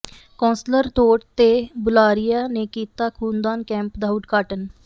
councillor ਢੋਟ ਤੇ ਬੁਲਾਰੀਆ ਨੇ ਕੀਤਾ ਖੂਨਦਾਨ ਕੈਂਪ ਦਾ ਉਦਘਾਟਨ